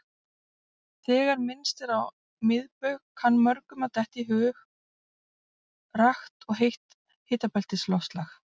Þegar minnst er á miðbaug kann mörgum að detta í hug rakt og heitt hitabeltisloftslag.